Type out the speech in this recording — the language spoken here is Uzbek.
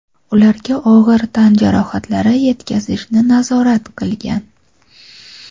ularga og‘ir tan jarohatlari yetkazishni nazorat qilgan.